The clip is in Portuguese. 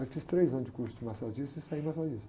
Aí fiz três anos de curso de massagista e saí massagista.